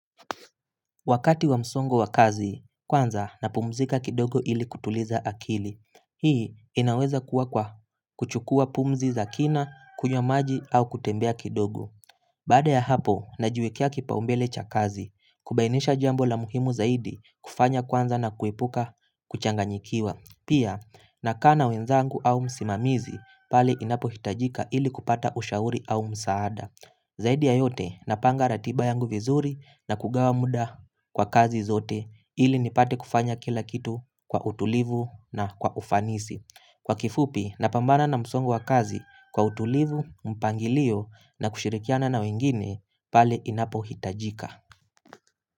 Wakati wa msongo wa kazi, kwanza napumzika kidogo ili kutuliza akili. Hii inaweza kuwa kwa kuchukua pumzi za kina, kunywa maji au kutembea kidogo. Baada ya hapo, najiwekea kipau mbele cha kazi, kubainisha jambo la muhimu zaidi kufanya kwanza na kuepuka kuchanganyikiwa. Pia, nakaa na wenzangu au msimamizi, pale inapo hitajika ili kupata ushauri au msaada. Zaidi ya yote napanga ratiba yangu vizuri na kugawa muda kwa kazi zote ili nipate kufanya kila kitu kwa utulivu na kwa ufanisi. Kwa kifupi napambana na msongo wa kazi kwa utulivu, mpangilio na kushirikiana na wengine pale inapo hitajika.